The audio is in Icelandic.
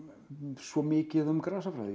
svo mikið um grasafræði